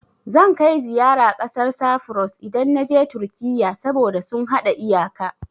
Zan kai ziyara ƙasar Safuros, idan na je Turkiyya, saboda sun haɗa iyaka.